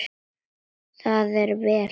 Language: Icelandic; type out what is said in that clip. Það er vel.